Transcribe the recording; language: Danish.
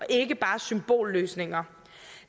ikke bare er symbolløsninger